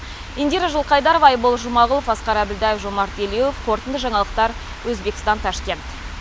индира жылқайдарова айбол жұмағұлов асқар әбілдаев жомарт елеуов қорытынды жаңалықтар өзбекстан ташкент